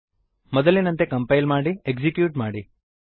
ಮೊದಲಿನಂತೆ ಕಂಪೈಲ್ ಮಾಡಿ ಎಕ್ಸಿಕ್ತ್ಯೂಟ್ ಮಾಡಿ